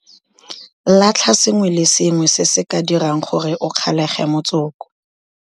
Latlha sengwe le sengwe se se ka dirang gore o kgalege motsoko.